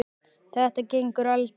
Þetta gengur aldrei.